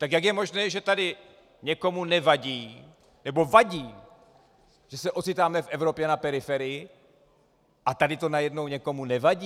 Tak jak je možné, že tady někomu nevadí, nebo vadí, že se ocitáme v Evropě na periferii, a tady to najednou někomu nevadí?